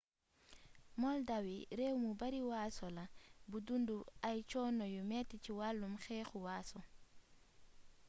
moldawi réew mu bari waaso la bu dundu ay coono yu metti ci walum xeexu waaso